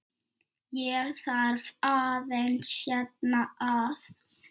Ég þarf aðeins hérna að.